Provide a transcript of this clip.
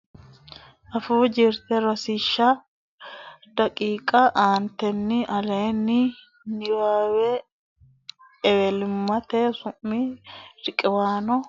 Afuu Jirte Rosiishsha daqiiqa aantetenni aleenni ini Ewelimmate Sumi riqiwaano lawishshi sette coy fooliishsho Ha nurisaano Su mi riqiwaanonna borreessitine ewlimmate sumi riqiwaano ha nurisaancho su mi riqiwaanonna Massagaanchimmate Sufo massagamaanchimmate.